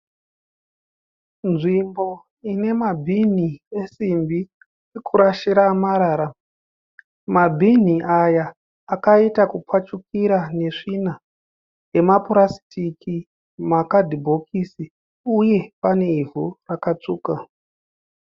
Nzvimbo ine mabinhi esimbi ekurashira marara. Mabhinhi aya akaita kupfashukira nesvina yemapurasitiki makadhibhokisi uye pane ivhu rakatsvuka.